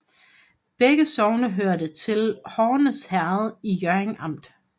Begge sogne hørte til Horns Herred i Hjørring Amt